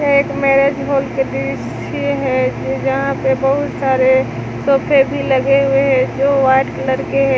यह एक marriage hall के दृश्य है जहां पे बहुत सारे सोफे भी लगे हुए हैं जो व्हाइट कलर हैं।